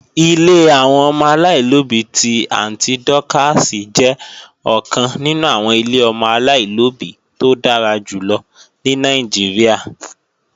Ilé àwọn ọmọ aláìlóbí ti Àntí Dọ́kààsì jẹ́ ọ̀kan nínú àwọn ilé ọmọ aláìlóbí tó dára jùlọ ní Nàìjíríà